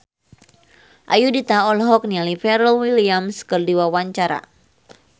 Ayudhita olohok ningali Pharrell Williams keur diwawancara